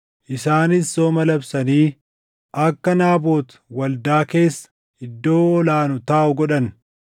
Isaanis sooma labsanii akka Naabot waldaa keessa iddoo ol aanu taaʼu godhan.